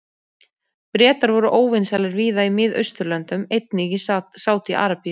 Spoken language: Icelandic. Bretar voru óvinsælir víða í Mið-Austurlöndum, einnig í Sádi-Arabíu.